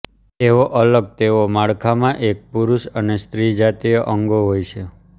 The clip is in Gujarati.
તેઓ અલગ તેઓ માળખામાં એક પુરુષ અને સ્ત્રી જાતીય અંગો હોય છે